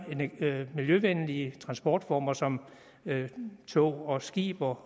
miljøvenlige transportformer som tog og skib og